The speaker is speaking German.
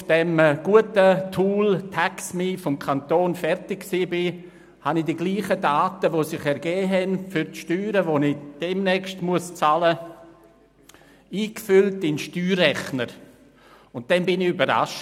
Als ich auf dem Tool des Kantons Bern Taxme fertig war, habe ich die dieselben Daten, die ich für die Steuern, die ich demnächst bezahlen muss, in den Steuerrechner eingefüllt und war überrascht: